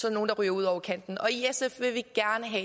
er nogle der ryger ud over kanten